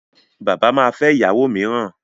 Bàbá ma fẹ́ ìyàwó mìíràn.